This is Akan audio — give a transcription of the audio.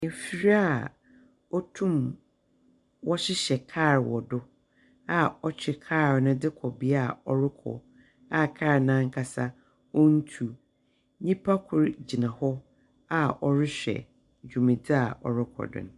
Afir a wɔtum wɔhyehyɛ kal wɔ do a wɔtwe kaal no dze kɔ bea a ɔrokɔ, a kaal no ankasa, wontu. Nyimpa kor gyina hɔ a ɔrehwɛ dwumadzi a wɔrokɔ do no.